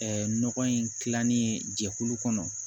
Ɛɛ nɔgɔ in tilannin jɛkulu kɔnɔ